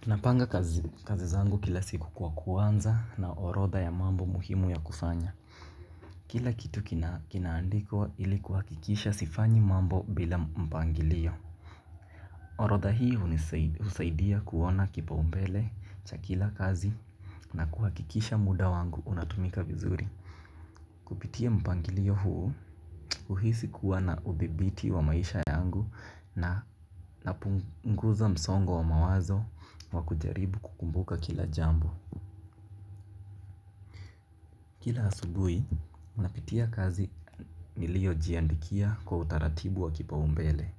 Tunapanga kazi zangu kila siku kwa kuanza na orodha ya mambo muhimu ya kufanya. Kila kitu kinaandikwa ilikuhakikisha sifanyi mambo bila mpangilio. Orodha hii husaidia kuona kipa umbele cha kila kazi na kuha kikisha muda wangu unatumika vizuri. Kupitia mpangilio huu uhisi kuwana ubibiti wa maisha yangu na napunguza msongo wa mawazo wa kujaribu kukumbuka kila jambo. Kila asubui, unapitia kazi nilio jiandikia kwa utaratibu wa kipa umbele.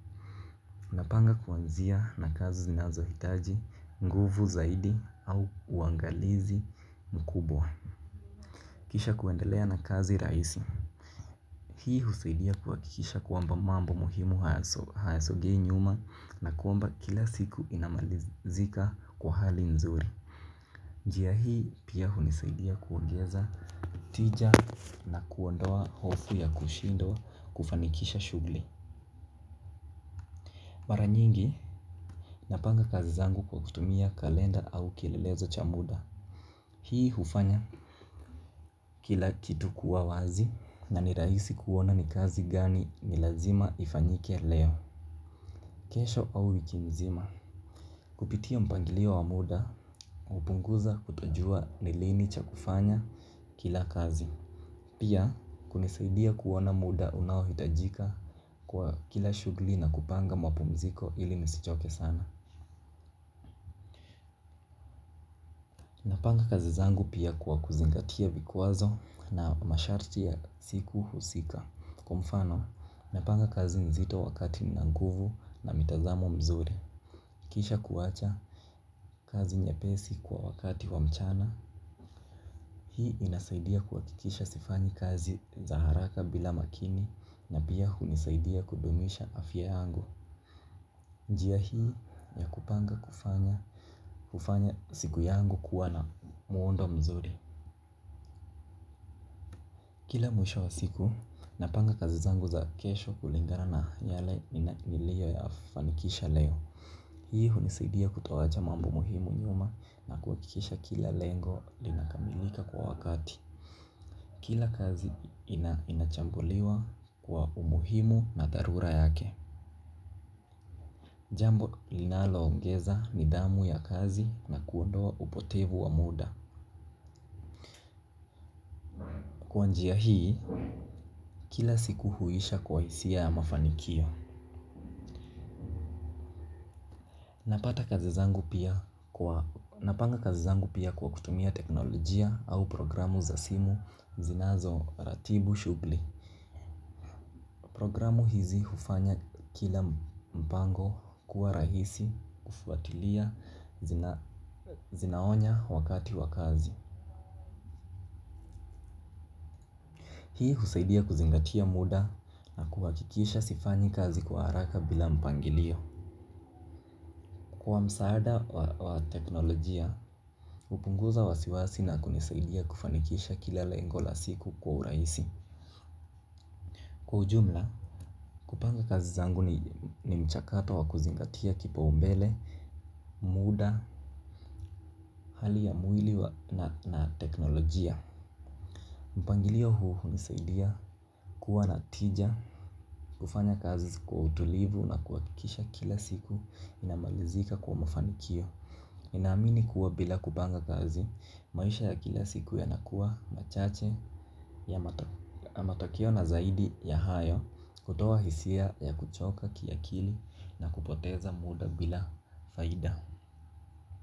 Unapanga kuanzia na kazi zinazo hitaji, nguvu zaidi au uangalizi mkubwa. Kisha kuendelea na kazi raisi. Hii husaidia kuha kisha kwamba mambo muhimu hayasogei nyuma na kuamba kila siku inamalizika kwa hali nzuri. Njia hii pia hunisaidia kuongeza tija na kuondoa hofu ya kushindwa kufanikisha shugli. Maranyingi napanga kazi zangu kwa kutumia kalenda au kilelezo cha muda. Hii hufanya kila kitu kuawazi na niraisi kuona ni kazi gani ni lazima ifanyike leo kesho au wikimzima. Kupitia mpangilio wa muda upunguza kutojua nilini cha kufanya kila kazi. Pia, kunisaidia kuona muda unawo hitajika kwa kila shugli na kupanga mapumziko ili nisichoke sana. Panga kazi zangu pia kwa kuzingatia vikwazo na masharti ya siku husika. Kwa mfano, napanga kazi nzito wakati ninanguvu na mitazamo mzuri. Kisha kuwacha kazi nye pesi kwa wakati wa mchana. Hii inasaidia kuhakikisha sifanyi kazi za haraka bila makini na pia hunisaidia kudumisha afya yangu. Njia hii ya kupanga kufanya siku yangu kuwa na muondo mzuri. Kila mwisho wa siku, napanga kazi zangu za kesho kulingana na yale nilio ya fanikisha leo. Hii hunisidia kutawacha mambo muhimu nyuma na kukikisha kila lengo linakamilika kwa wakati. Kila kazi inachambuliwa kwa umuhimu na darura yake. Jambo linalo ongeza ni dhamu ya kazi na kuondoa upotevu wa muda. Kwa njia hii kila siku huisha kwa isia ya mafanikio. Napata kazi zangu pia kwa napanga kazi zangu pia kwa kutumia teknolojia au programu za simu zinazo ratibu shugli. Programu hizi hufanya kila mpango kuwa rahisi kufuatilia zinaonya wakati wa kazi. Hii husaidia kuzingatia muda na kuwakikisha sifanyi kazi kwa haraka bila mpangilio. Kwa msaada wa teknolojia, upunguza wasiwasi na kunisaidia kufanikisha kilala lengola siku kwa uraisi. Kwa ujumla, kupanga kazi zangu ni mchakato wa kuzingatia kipa umbele, muda, hali ya mwili na teknolojia. Mpangilio huu nisaidia kuwa natija, kufanya kazi kwa utulivu na kuakikisha kila siku inamalizika kwa mafanikio. Naamini kuwa bila kubanga kazi, maisha ya kila siku yanakuwa machache ya matokio na zaidi ya hayo kutoa hisia ya kuchoka kiakili na kupoteza muda bila faida.